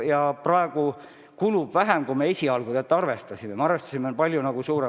Ja praegu kulub vähem, kui me esialgu arvestasime, me arvestasime palju suuremate kogustega.